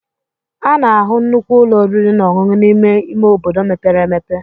A na-ahụ nnukwu ụlọ oriri na ọṅụṅụ n'ime ime obodo mepere emepe.